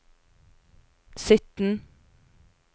sytten